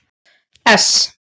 S